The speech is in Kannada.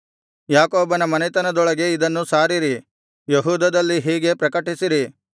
ಯಾಕೋಬನ ಮನೆತನದೊಳಗೆ ಇದನ್ನು ಸಾರಿರಿ ಯೆಹೂದದಲ್ಲಿ ಹೀಗೆ ಪ್ರಕಟಿಸಿರಿ